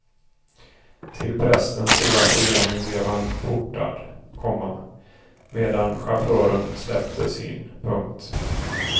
Till prästens stora förvåning blev han portad, komma medan chauffören släpptes in. punkt